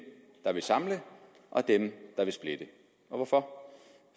der vil samle og dem der vil splitte hvorfor